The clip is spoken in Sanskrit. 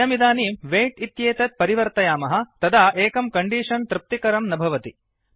वयमिदानीं वैट् इत्येतत् परिवर्तयामः तदा एकं कण्डीषन् तृप्तिकरं न भवति